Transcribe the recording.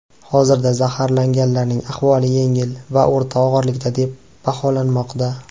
Hozirda zaharlanganlarning ahvoli yengil va o‘rta og‘irlikda deb baholanmoqda.